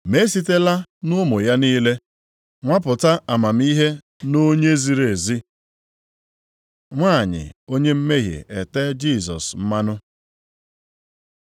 Ma e sitela nʼụmụ ya niile nwapụta amamihe nʼonye ziri ezi.” Nwanyị onye mmehie etee Jisọs mmanụ